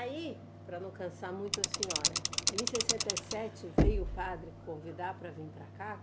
Aí, para não cansar muito a senhora, em sessenta e sete veio o padre convidar para vir para cá?